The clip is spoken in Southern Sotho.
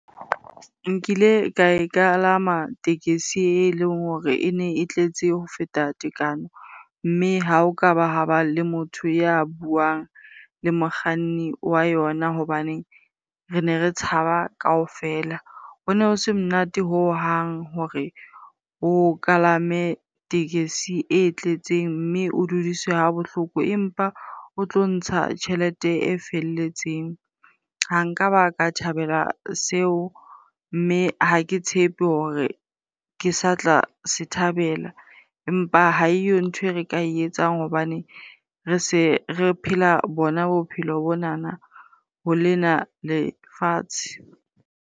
Nkile ka e kalama tekesi eleng hore e ne e tletse ho feta tekano. Mme ha o kaba ha ba le motho ya buang le mokganni wa yona hobane re ne re tshaba kaofela. Hono ho se monate hohang hore o kalame tekesi e tletseng mme o dudiswe ha bohloko empa o tlo ntsha tjhelete e felletseng. Ha nka ba ka thabela seo mme ha ke tshepe hore ke sa tla se thabela, empa ha eyo ntho e re ka etsang hobane re se re phela bona bophelo bonana ho lena lefatshe.